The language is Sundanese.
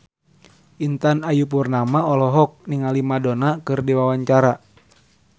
Intan Ayu Purnama olohok ningali Madonna keur diwawancara